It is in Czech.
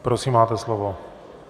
Prosím, máte slovo.